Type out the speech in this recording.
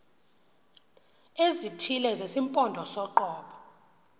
ezithile zesimpondo soqobo